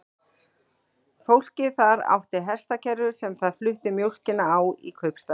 Fólkið þar átti hestakerru sem það flutti mjólkina á í kaupstaðinn.